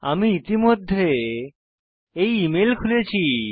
আমি ইতিমধ্যে এই ইমেল খুলেছি